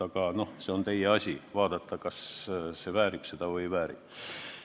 Aga see on teie asi uurida, kas see väärib küünlaid või ei vääri.